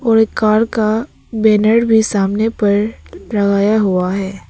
और एक कार का बैनर भी सामने पर लगाया हुआ है।